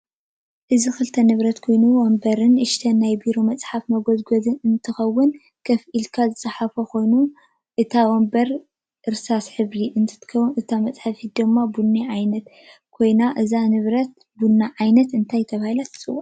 እዚ ክልተ ንብረት ኮይኑ ወንበርን ንእሽተይ ናይ ብሮ መፅሕፍ መጎዝጎዚ እንትከውን ከፍ እልካ ዝፃሓፎ ኮይኑ ሕብ እታ ወንበር እርሳስ ሕብር እንትትከውን እታ መፀሕፊት ድማ ቡና ዓይነት ኮይና እዛ ንብረት በና ዓይነት እንታይ ተበሂላ ትፅዋ ?